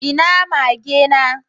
Ina mage na?